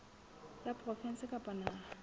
la provinse kapa la naha